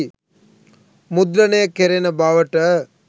මුද්‍රණය කෙරෙන බවට